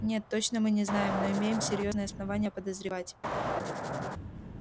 нет точно мы не знаем но имеем серьёзные основания подозревать